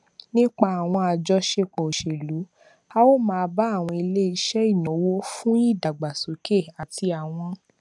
nípa àwọn àjọṣepọ òṣèlú a óò máa bá àwọn ilé iṣẹ ìnáwó fún ìdàgbàsókè àti àwọn